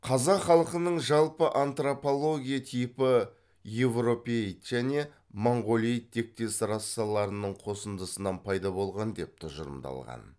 қазақ халқының жалпы антропология типі еуропеоид және монғолеид тектес расаларының қосындысынан пайда болған деп тұжырымдалған